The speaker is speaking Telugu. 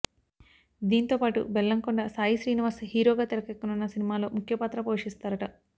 దీంతో పాటు బెల్లంకొండ సాయి శ్రీనివాస్ హీరోగా తెరకెక్కనున్న సినిమాలో ముఖ్య పాత్ర పోషిస్తారట